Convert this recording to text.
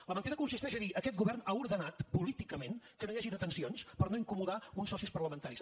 la mentida consisteix a dir aquest govern ha ordenat políticament que no hi hagi detencions per no incomodar uns socis parlamentaris